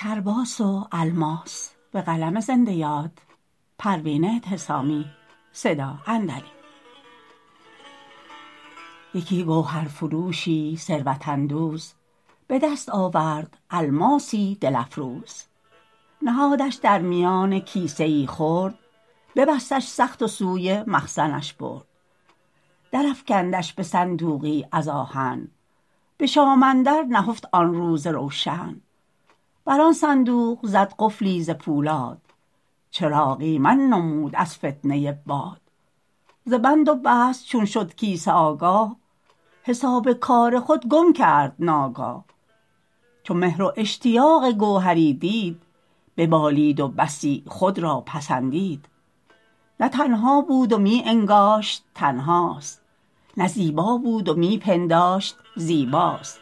یکی گوهر فروشی ثروت اندوز بدست آورد الماسی دل افروز نهادش در میان کیسه ای خرد ببستش سخت و سوی مخزنش برد درافکندش بصندوقی از آهن بشام اندر نهفت آن روز روشن بر آن صندوق زد قفلی ز پولاد چراغ ایمن نمود از فتنه باد ز بند و بست چون شد کیسه آگاه حساب کار خود گم کرد ناگاه چو مهر و اشتیاق گوهری دید ببالید و بسی خود را پسندید نه تنها بود و میانگاشت تنهاست نه زیبا بود و می پنداشت زیباست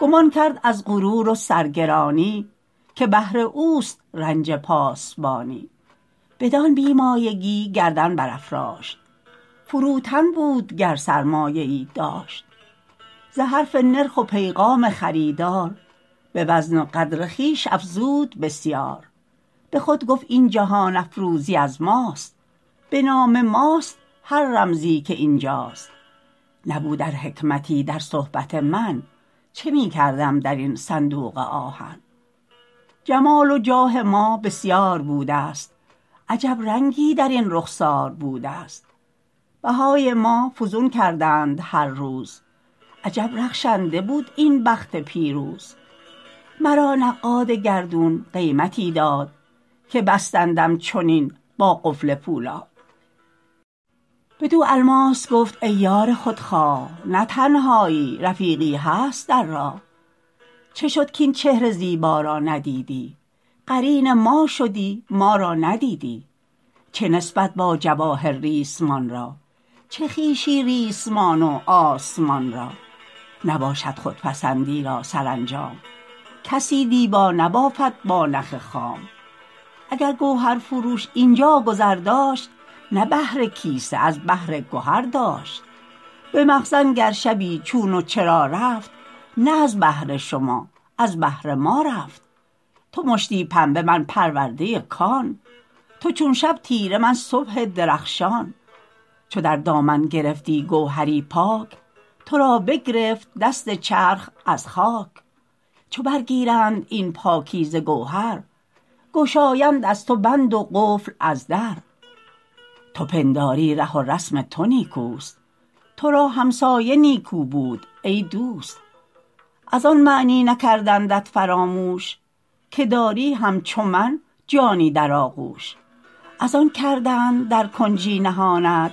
گمان کرد از غرور و سرگرانی که بهر اوست رنج پاسبانی بدان بیمایگی گردن برافراشت فروتن بود گر سرمایه ای داشت ز حرف نرخ و پیغام خریدار بوزن و قدر خویش افزود بسیار بخود گفت این جهان افروزی از ماست بنام ماست هر رمزی که اینجاست نبود ار حکمتی در صحبت من چه میکردم درین صندوق آهن جمال و جاه ما بسیار بودست عجب رنگی درین رخسار بودست بهای ما فزون کردند هر روز عجب رخشنده بود این بخت پیروز مرا نقاد گردون قیمتی داد که بستندم چنین با قفل پولاد بدو الماس گفت ای یار خودخواه نه تنهایی رفیقی هست در راه چه شد کاین چهر زیبا را ندیدی قرین ما شدی ما را ندیدی چه نسبت با جواهر ریسمان را چه خویشی ریسمان و آسمان را نباشد خودپسندی را سرانجام کسی دیبا نبافد با نخ خام اگر گوهر فروش اینجا گذر داشت نه بهر کیسه از بهر گهر داشت بمخزن گر شبی چون و چرا رفت نه از بهر شما از بهر ما رفت تو مشتی پنبه من پرورده کان تو چون شب تیره من صبح درخشان چو در دامن گرفتی گوهری پاک ترا بگرفت دست چرخ از خاک چو بر گیرند این پاکیزه گوهر گشایند از تو بند و قفل از در تو پنداری ره و رسم تو نیکوست ترا همسایه نیکو بود ای دوست از آن معنی نکردندت فراموش که داری همچو من جانی در آغوش از آن کردند در کنجی نهانت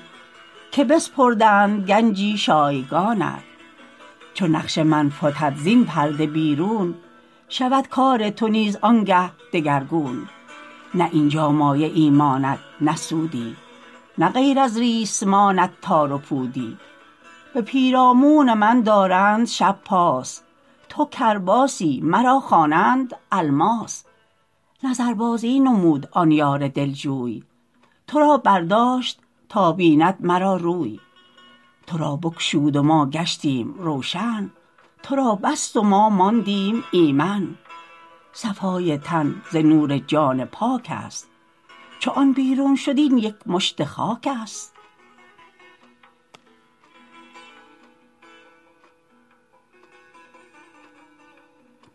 که بسپردند گنجی شایگانت چو نقش من فتد زین پرده بیرون شود کار تو نیز آنگه دگرگون نه اینجا مایه ای ماند نه سودی نه غیر از ریسمانت تار پودی به پیرامون من دارند شب پاس تو کرباسی مرا خوانند الماس نظر بازی نمود آن یار دلجوی ترا برداشت تا بیند مرا روی ترا بگشود و ما گشتیم روشن ترا بر بست و ما ماندیم ایمن صفای تن ز نور جان پاک است چو آن بیرون شد این یک مشت خاک است